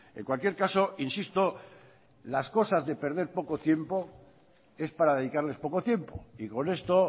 en cualquier caso insisto las cosas de perder poco tiempo es para dedicarles poco tiempo y con esto